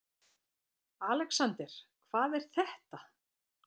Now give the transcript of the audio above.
ALEXANDER: Hvað er þetta?